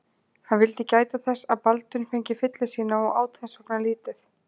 Hann vildi gæta þess að Baldvin fengi fylli sína og át þess vegna lítið.